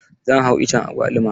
Zan hau iccen agwaluma.